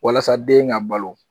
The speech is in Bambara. Walasa den ka balo